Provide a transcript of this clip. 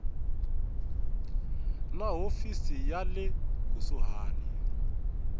na hofisi ya le kusuhani